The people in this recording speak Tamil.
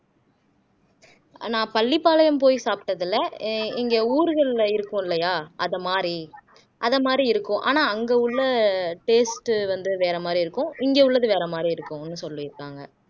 நான் பள்ளிபாளையம் போய் சாப்பிட்டதுல அஹ் இங்க ஊர்கள்ல இருக்கும் இல்லையா அது மாரி அதை மாதிரி இருக்கும் ஆனா அங்க உள்ள taste வந்து வேற மாதிரி இருக்கும் இங்க உள்ளது வேற மாதிரி இருக்கும்னு சொல்லியிருக்காங்க